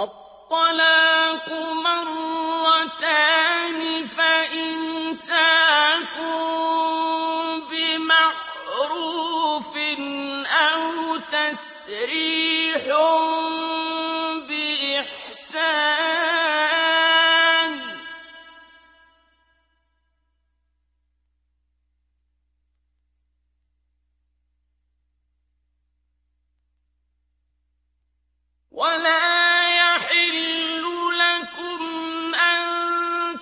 الطَّلَاقُ مَرَّتَانِ ۖ فَإِمْسَاكٌ بِمَعْرُوفٍ أَوْ تَسْرِيحٌ بِإِحْسَانٍ ۗ وَلَا يَحِلُّ لَكُمْ أَن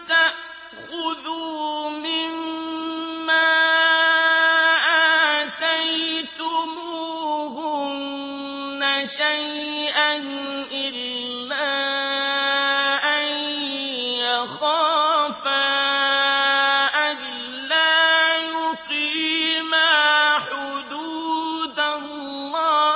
تَأْخُذُوا مِمَّا آتَيْتُمُوهُنَّ شَيْئًا إِلَّا أَن يَخَافَا أَلَّا يُقِيمَا حُدُودَ اللَّهِ ۖ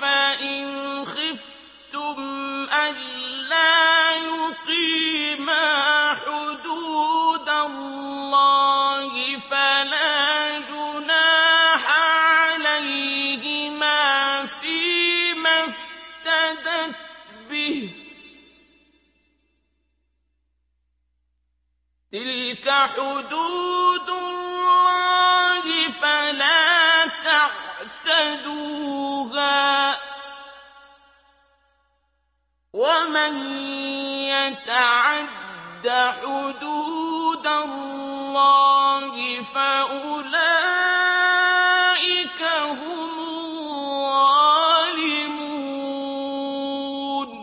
فَإِنْ خِفْتُمْ أَلَّا يُقِيمَا حُدُودَ اللَّهِ فَلَا جُنَاحَ عَلَيْهِمَا فِيمَا افْتَدَتْ بِهِ ۗ تِلْكَ حُدُودُ اللَّهِ فَلَا تَعْتَدُوهَا ۚ وَمَن يَتَعَدَّ حُدُودَ اللَّهِ فَأُولَٰئِكَ هُمُ الظَّالِمُونَ